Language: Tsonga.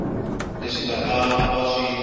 leswi swi nga va swi